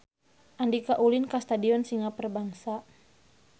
Andika ulin ka Stadion Singa Perbangsa